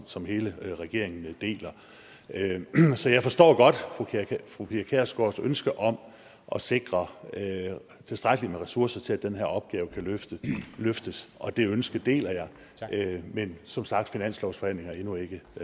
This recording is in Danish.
som hele regeringen deler så jeg forstår godt fru pia kjærsgaards ønske om at sikre tilstrækkelig med ressourcer til at den her opgave kan løftes løftes og det ønske deler jeg men som sagt finanslovsforhandlingerne er endnu ikke